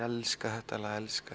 elska þetta lag og elska